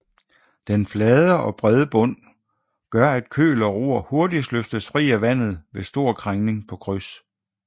Den flade og brede bund gør at køl og ror hurtigt løftes fri af vandet ved stor krængning på kryds